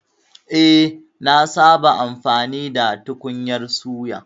Eh, nasaba amfani da tukunyar suya